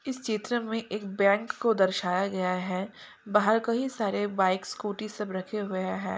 इस चित्र में एक बैंक को दर्शाया गया है बाहर कई सारे बाइक स्कूटी सब रखे हुए हैं।